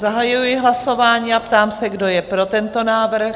Zahajuji hlasování a ptám se, kdo je pro tento návrh?